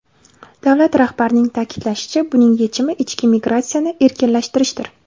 Davlat rahbarining ta’kidlashicha, buning yechimi ichki migratsiyani erkinlashtirishdir.